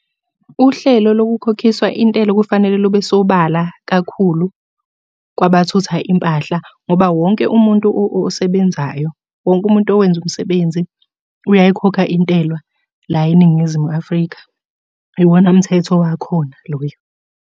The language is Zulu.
Uhlelo lokukhokhiswa intela kufanele lube sobala kakhulu kwabathutha impahla ngoba wonke umuntu osebenzayo, wonke umuntu owenza umsebenzi uyayikhokha intela la eNingizimu Afrika. Iwona mthetho wakhona loyo.